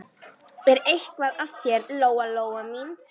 Er eitthvað að þér, Lóa Lóa mín?